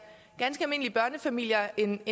ganske almindelige børnefamilier end